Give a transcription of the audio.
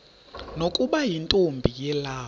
nokuba yintombi yelawu